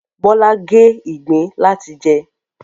Bọ́lá gé ìgbín láti jẹ